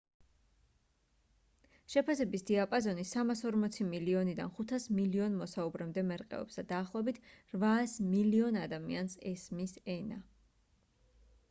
შეფასების დიაპაზონი 340 მილიონიდან 500 მილიონ მოსაუბრემდე მერყეობს და დაახლოებით 800 მილიონ ადამიანს ესმის ენა